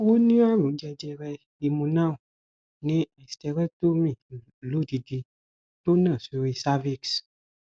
ó ní àrùn jẹjẹrẹ ìmúnáo ni hysterectomy lodidi to na sori cervix